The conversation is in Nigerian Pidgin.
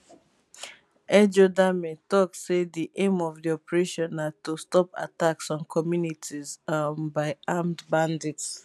ejodame tok say di aim of di operation na to stop attacks on communities um by armed bandits